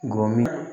N go min